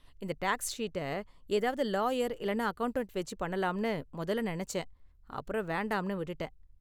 இந்த டேக்ஸ் ஷீட்டை ஏதாவது லாயர் இல்லனா அக்கவுண்டன்ட் வெச்சி பண்ணலாம்னு முதல்ல நினைச்சேன் அப்பறம் வேண்டாம்ன்னு விட்டுட்டேன்.